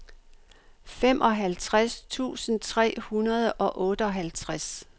femoghalvtreds tusind tre hundrede og otteoghalvtreds